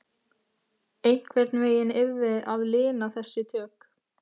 Einhvern veginn yrði að lina þessi tök